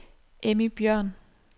Emmy Bjørn